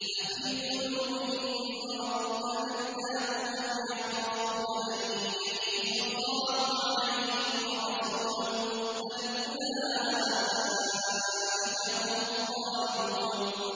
أَفِي قُلُوبِهِم مَّرَضٌ أَمِ ارْتَابُوا أَمْ يَخَافُونَ أَن يَحِيفَ اللَّهُ عَلَيْهِمْ وَرَسُولُهُ ۚ بَلْ أُولَٰئِكَ هُمُ الظَّالِمُونَ